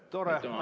Tore.